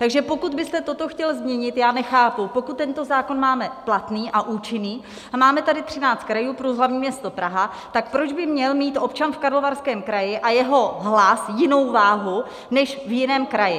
Takže pokud byste toto chtěl změnit, já nechápu, pokud tento zákon máme platný a účinný a máme tady 13 krajů plus hlavní město Praha, tak proč by měl mít občan v Karlovarském kraji a jeho hlas jinou váhu než v jiném kraji.